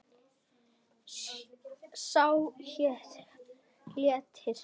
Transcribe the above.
Sá hét Léttir.